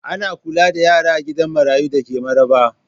Ana kula da yara a gida marayu da ke Maraba.